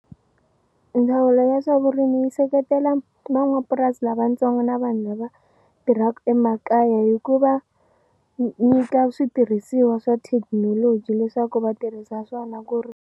Ndzawulo ya swa vurimi yi seketela van'wapurasi lavatsongo na vanhu lava tirhaku emakaya hi ku va nyika switirhisiwa swa thekinoloji leswaku va tirhisa swona ku .